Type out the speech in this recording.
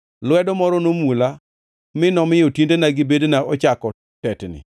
Lwedo moro nomula, mi nomiyo tiendena gi bedena ochako tetni.